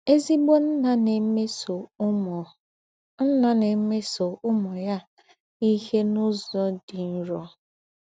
Èzígbò ǹnà ná-èmésọ̀ úmù ǹnà ná-èmésọ̀ úmù ya íhe n’ụ́zọ̀ dị́ nrọ.